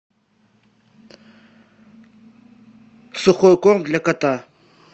сухой корм для кота